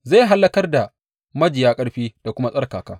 Zai hallakar da majiya ƙarfi da kuma tsarkaka.